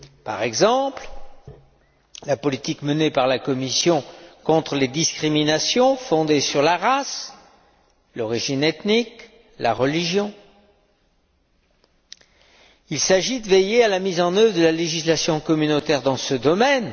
Par exemple, concernant la politique menée par la Commission contre les discriminations fondées sur la race, l'origine ethnique, la religion, il s'agit de veiller à la mise en œuvre de la législation communautaire dans ce domaine